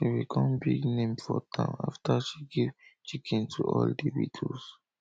she become big name for town after she give chicken to all the widows